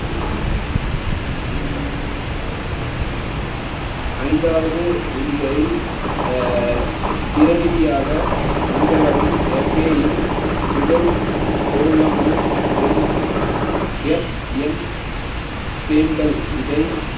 ஐந்தாவது விதிகளில் அஹ் பிரநிதியாக வந்தவரும் FA யின் முதல் பொருளான MFM சேம்பல் இதை